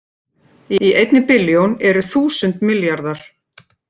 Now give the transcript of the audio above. Í einni billjón eru þúsund milljarðar